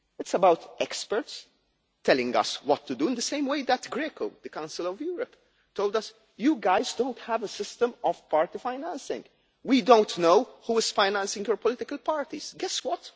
It is about experts telling us what to do in the same way that Greco, the Council of Europe, told us you guys don't have a system of party financing, we don't know who is financing your political parties'. Guess what?